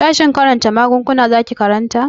Sashen karantar maguguna zaki karanta?